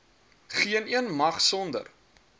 geeneen mag sonder